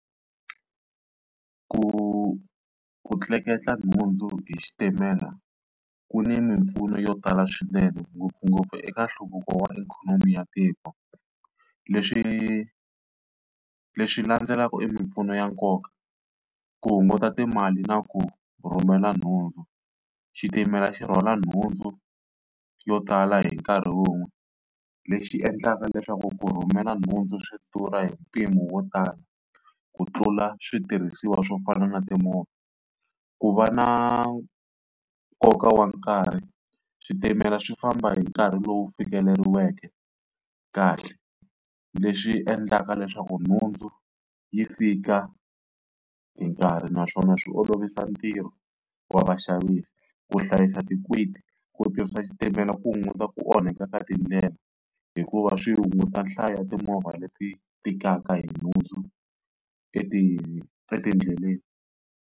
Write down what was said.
Ku ku tleketla nhundzu hi xitimela ku ni mimpfuno yo tala swinene ngopfungopfu eka nhluvuko wa ikhonomi ya tiko. Leswi lexi landzelaka i mimpfuno ya nkoka ku hunguta timali na ku rhumela nhundzu, xitimela xi rhwala nhundzu yo tala hi nkarhi wun'we lexi endlaka leswaku ku rhumela nhundzu swi durha hi mpimo wo tala ku tlula switirhisiwa swo fana na timovha. Ku va na nkoka wa nkarhi, switimela swi famba hi nkarhi lowu fikeleriweke kahle leswi endlaka leswaku nhundzu yi fika hi nkarhi naswona swi olovisa ntirho wa vaxavisi. Ku hlayisa ku tirhisa xitimela ku hunguta ku onhaka ka tindlela hikuva swi hunguta nhlayo ya timovha leti tikaka hi nhundzu etindleleni.